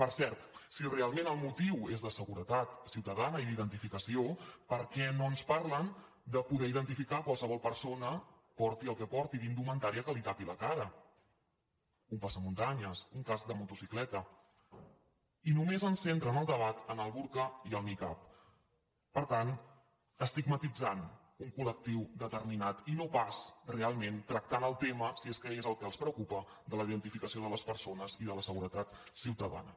per cert si realment el motiu és de seguretat ciutadana i d’identificació per què no ens parlen de poder identificar qualsevol persona porti el que porti d’indumentària que li tapi la cara un passamuntanyes un casc de motocicleta i només ens centren el debat en el burca i el nicab per tant estigmatitzant un col·lectiu determinat i no pas realment tractant el tema si és que és el que els preocupa de la identificació de les persones i de la seguretat ciutadana